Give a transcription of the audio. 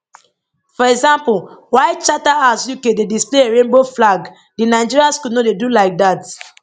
for example while charterhouse uk dey display a rainbow flag di nigeria school no dey do like dat